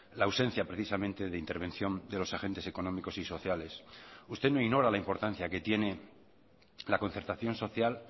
la ausencia precisamente de intervención de los agentes económicos y sociales usted no ignora la importancia que tiene la concertación social